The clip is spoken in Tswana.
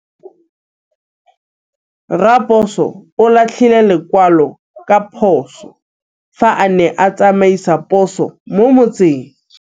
Raposo o latlhie lekwalô ka phosô fa a ne a tsamaisa poso mo motseng.